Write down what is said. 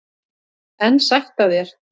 En sætt af þér!